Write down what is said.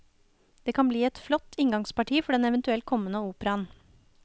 Det kan bli et flott inngangsparti for den eventuelt kommende operaen.